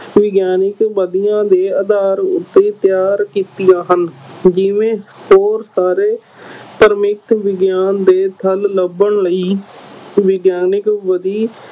ਵਿਗਿਆਨਕ ਵਿੱਧੀਆ ਦੇ ਆਧਾਰ ਉੱਤੇ ਤਿਆਰ ਕੀਤੀਆਂ ਹਨ ਜਿਵੇਂ ਹੋਰ ਸਾਰੇ ਵਿਗਿਆਨ ਦੇ ਲੱਭਣ ਲਈ ਵਿਗਿਆਨਕ ਵਿੱਧੀ